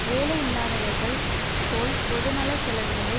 வேலை இல்லாதவர்கள் போல் பொதுநல செலவுகளை